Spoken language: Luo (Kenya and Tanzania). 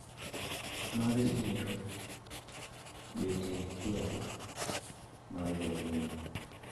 Mar siro betie achiel mar jopiny.